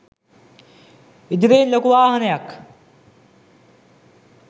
ඉදිරියෙන් ලොකු වාහනයක්